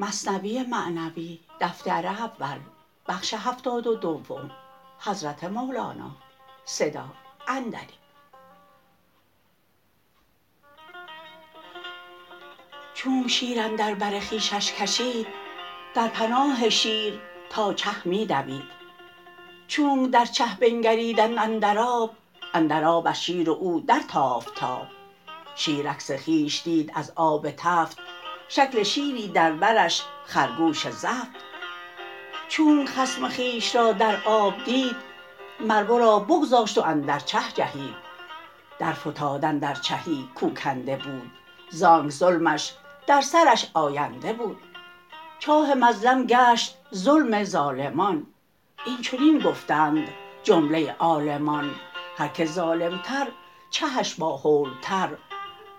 چونک شیر اندر بر خویشش کشید در پناه شیر تا چه می دوید چونک در چه بنگریدند اندر آب اندر آب از شیر و او در تافت تاب شیر عکس خویش دید از آب تفت شکل شیری در برش خرگوش زفت چونک خصم خویش را در آب دید مر ورا بگذاشت و اندر چه جهید در فتاد اندر چهی کو کنده بود زانک ظلمش در سرش آینده بود چاه مظلم گشت ظلم ظالمان این چنین گفتند جمله عالمان هر که ظالم تر چهش با هول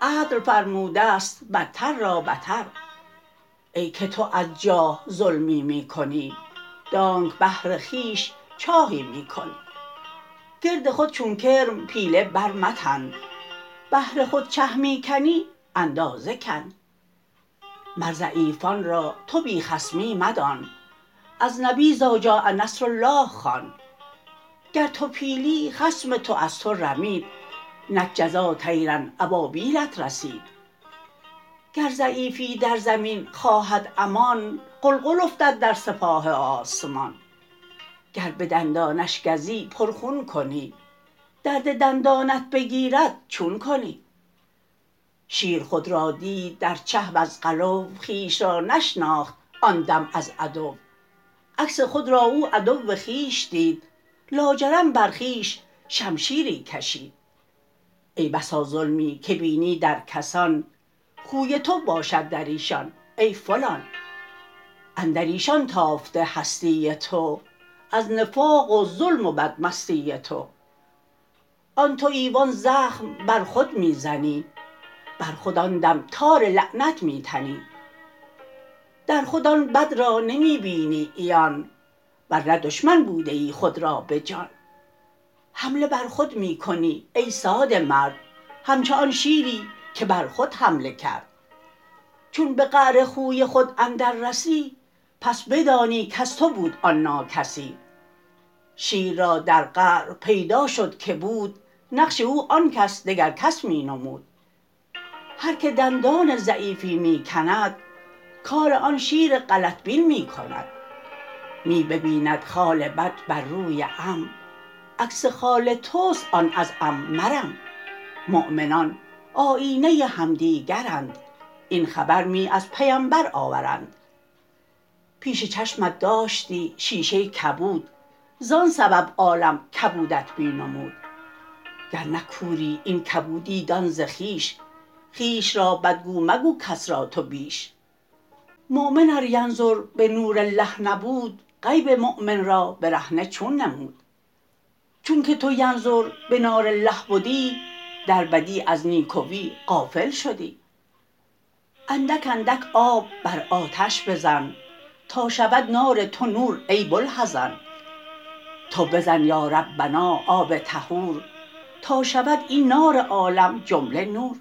تر عدل فرمودست بتر را بتر ای که تو از جاه ظلمی می کنی دانک بهر خویش چاهی می کنی گرد خود چون کرم پیله بر متن بهر خود چه می کنی اندازه کن مر ضعیفان را تو بی خصمی مدان از نبی إذجاء نصر الله خوان گر تو پیلی خصم تو از تو رمید نک جزا طیرا أبابیلت رسید گر ضعیفی در زمین خواهد امان غلغل افتد در سپاه آسمان گر بدندانش گزی پر خون کنی درد دندانت بگیرد چون کنی شیر خود را دید در چه وز غلو خویش را نشناخت آن دم از عدو عکس خود را او عدو خویش دید لاجرم بر خویش شمشیری کشید ای بسا ظلمی که بینی در کسان خوی تو باشد دریشان ای فلان اندریشان تافته هستی تو از نفاق و ظلم و بد مستی تو آن توی و آن زخم بر خود می زنی بر خود آن دم تار لعنت می تنی در خود آن بد را نمی بینی عیان ورنه دشمن بودیی خود را بجان حمله بر خود می کنی ای ساده مرد همچو آن شیری که بر خود حمله کرد چون به قعر خوی خود اندر رسی پس بدانی کز تو بود آن ناکسی شیر را در قعر پیدا شد که بود نقش او آنکش دگر کس می نمود هر که دندان ضعیفی می کند کار آن شیر غلط بین می کند می ببیند خال بد بر روی عم عکس خال تست آن از عم مرم مؤمنان آیینه همدیگرند این خبر می از پیمبر آورند پیش چشمت داشتی شیشه کبود زان سبب عالم کبودت می نمود گر نه کوری این کبودی دان ز خویش خویش را بد گو مگو کس را تو بیش مؤمن ار ینظر بنور الله نبود غیب مؤمن را برهنه چون نمود چون که تو ینظر بنار الله بدی در بدی از نیکوی غافل شدی اندک اندک آب بر آتش بزن تا شود نار تو نور ای بوالحزن تو بزن یا ربنا آب طهور تا شود این نار عالم جمله نور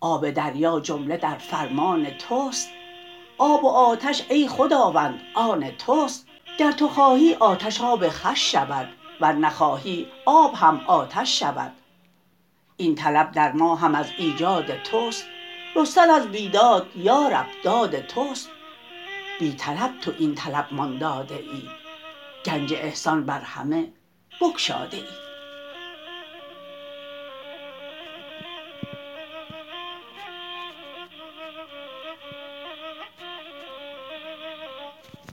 آب دریا جمله در فرمان تست آب و آتش ای خداوند آن تست گر تو خواهی آتش آب خوش شود ور نخواهی آب هم آتش شود این طلب در ما هم از ایجاد تست رستن از بیداد یا رب داد تست بی طلب تو این طلب مان داده ای گنج احسان بر همه بگشاده ای